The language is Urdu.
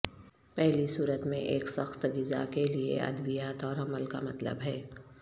پہلی صورت میں ایک سخت غذا کے لئے ادویات اور عمل کا مطلب ہے